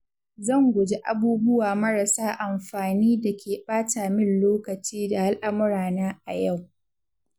Zan guji abubuwa marasa amfani da ke ɓata min lokaci da al'amurana a yau.